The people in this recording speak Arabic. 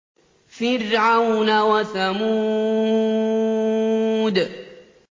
فِرْعَوْنَ وَثَمُودَ